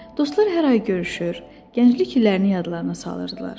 Dostlar hər ay görüşür, gənclik illərini yadlarına salırdılar.